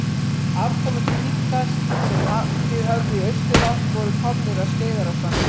Afkomendur minka sem haldið höfðu í austurátt voru komnir að Skeiðarársandi.